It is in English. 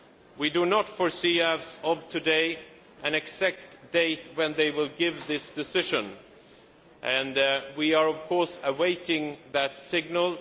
We do not foresee today an exact date when they will give this decision, and we are, of course, awaiting that signal.